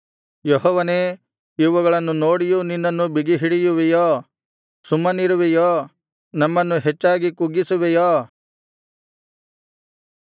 ಯೆಹೋವನೇ ಇವುಗಳನ್ನು ನೋಡಿಯೂ ನಿನ್ನನ್ನು ಬಿಗಿಹಿಡಿಯುವಿಯೋ ಸುಮ್ಮನಿರುವಿಯೋ ನಮ್ಮನ್ನು ಹೆಚ್ಚಾಗಿ ಕುಗ್ಗಿಸುವಿಯೋ